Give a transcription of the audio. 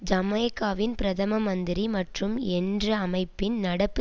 ஜமேக்காவின் பிரதம மந்திரி மற்றும் என்ற அமைப்பின் நடப்பு